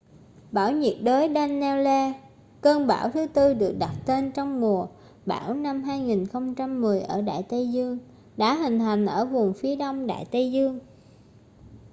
bão nhiệt đới danielle cơn bão thứ tư được đặt tên trong mùa bão năm 2010 ở đại tây dương đã hình thành ở vùng phía đông đại tây dương